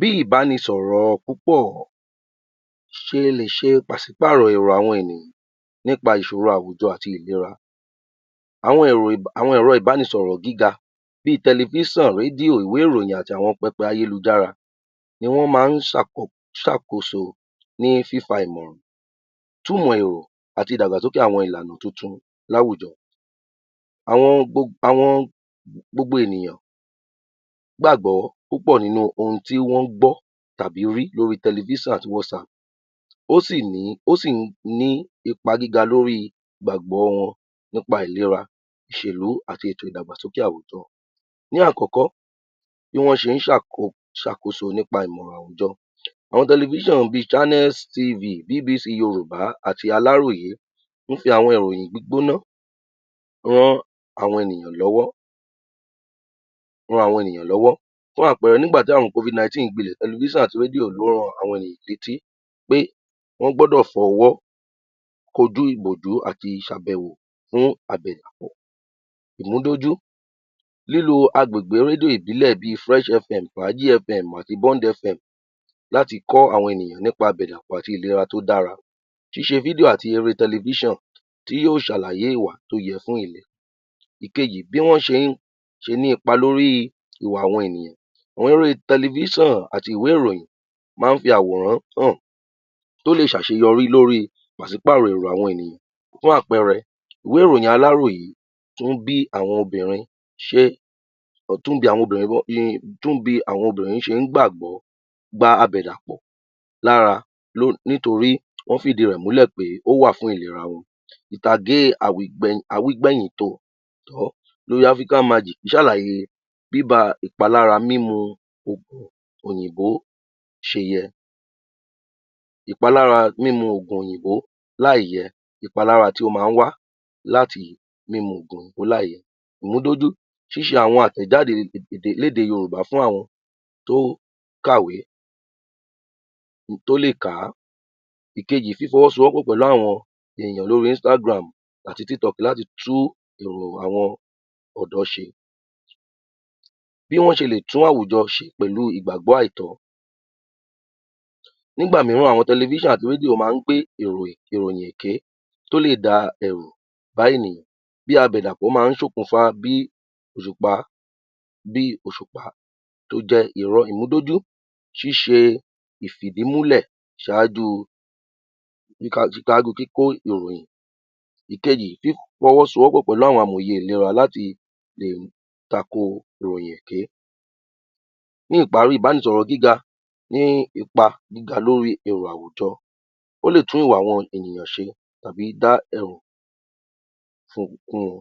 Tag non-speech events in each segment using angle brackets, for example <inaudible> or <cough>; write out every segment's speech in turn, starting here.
Bí ìbánisọ̀rọ̀ púpọ̀ ṣe lè ṣe pàṣí-pàrọ̀ èrò àwọn ènìyàn nípa ìṣoro àwùjọ àti ìlera, àwọn ẹ̀rọ ìbánisọ̀rọ̀ gíga bí tẹlẹfísàn, rédíò, ìwé ìròyìn àti àwọn pẹpẹ ayélujára ni wọ́n máa ń ṣàkóso ní fífa ìmọ̀ràn, túmọ̀ èrò àti ìdàgbàsókè àwọn ìlànà tun-tun láwùjọ. gbogbo ènìyàn gbàgbọ́ púpọ̀ nínú ohun tí wọ́n gbọ́ tàbí rí lóri tẹlẹfíṣàn àti (Whatsapp), ó sì ní ipa gíga lóri ìgbàgbọ́ wọn nípa ìlera, ìṣèlú àti ìdàgbàsókè àwùjọ. Ní àkọ́kọ́, bí wọ́n ṣe ń ṣàkóso nípa ìmọ̀ràn àwùjọ, àwọn tẹlẹfiṣan bí (Channels TV, BBC Yorùbá àti Aláròyé) fún ti àwọn ìròyìn gbígbóná ran àwọn ènìyàn lọ́wọ́, fún àpẹẹrẹ, nígbà tí àrùn (Covid-19) gbilẹ̀, tẹlẹfíṣàn àti rédíò ló ran àwọn ènìyàn létí pé wọ́n gbọ́dọ̀ fọwọ́ kojú ìbòjú àti ìṣàbẹ̀wò fún àbẹ̀dàpọ̀. Ìmúdójú, lílo agbègbè rédíò ìbílẹ̀ bi (Fresh Fm, Fàájì Fm, Bond Fm) láti kọ́ àwọn ènìyàn nípa àbẹ̀dàpọ̀ àti ìlera tó dara, ṣíṣe <video> àti eré tẹlẹfíṣàn tí yóò ṣàlàyé ìwà tó yẹ fún ìlera. Èkejì, bí wọ́n ṣe ń ṣe ní ipa lóri ìwà àwọn ènìyàn, orí tẹlẹfíṣàn àti ìwé ìròyìn máa ń fi àwòrán hàn tó lè ṣàṣeyọrí lóri pàṣị-pàrò ìwà àwọn ènìyàn, fún àpẹẹrẹ, ìwé ìròyìn aláròyé tún bi àwọn obìnrin ṣe ń gbàgbọ́ gba àbẹ̀dàpọ̀ lára nítorí ó fi ìdí rẹ múlẹ̀ pé ó wà fún ìlera wọn. Ìtàgé àwígbẹ̀yìn lóri (African Magic) ṣàlàyé bíba ìpalára mímu ògùn òyìnbó ṣe yẹ. Ìpalára mímu ògùn òyìnbó láì yẹ, ìpalári tí ó máa ń wá láti mímu ògùn òyìnbò láì yẹ. Ìmúdójú, ṣíṣe àwọn àtẹ̀jáde léde Yorùbá fún àwọn tó kàwe, tó lè kà á. Èkejì, fífọwọ́ sowọ́ pọ̀ pẹ̀lu àwọn èyàn lóri (Instagram àti TikTok) láti tú èrò àwọn ọ̀dọ́ ṣe. Bí wọ́n ṣe lè tún àwùjọ ṣe pẹ̀lu ìgbàgbọ́ àìtọ́, nígbà míràn àwọn tẹlẹfíṣàn àti rédíò máa ń gbé ìròyìn, ìròyìn èké tó lè dá ẹ̀rù bá ènìyàn bí àbẹ̀dàpọ̀ máa ń ṣokùnfa bí òṣùpá tó jẹ́ irọ́. Ìmúdójú, ṣíṣe ìfìdímúlẹ̀ ṣaájú kíkó ìròyìn. Ìkejì, fífọwọ́ sowọ́ pọ̀ pẹ̀lú àwọn amòye ìlera láti lè tako ìròyìn èké. Ní ìparí, ìbánisọ̀rọ̀ gíga ní ipa gíga lórí èrò àwùjọ, ó lè tún ìwà àwọn ènìyàn ṣe tàbí dá ẹ̀rù fún wọn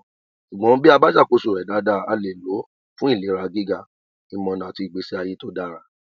ṣùgbọ́n bí a bá ṣàkóso rẹ̀ daada, a lè ló fún ìlera gíga, ìmọ̀nà àti ìgbésí ayé tó dára.